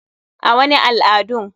A,wani al adun.